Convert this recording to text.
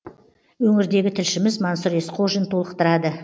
өңірдегі тілшіміз мансұр есқожин толықтырады